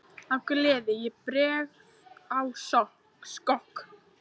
Af gleði ég bregð á skokk.